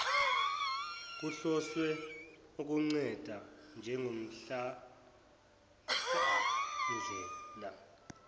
kuhloswe ukunceda njengomhlamhlandlela